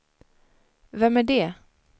vem är det